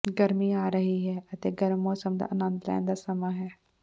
ਗਰਮੀ ਆ ਰਹੀ ਹੈ ਅਤੇ ਗਰਮ ਮੌਸਮ ਦਾ ਆਨੰਦ ਲੈਣ ਦਾ ਸਮਾਂ ਹੈ